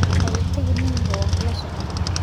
Ha iga tagin nin yahow waanu kula soconaa.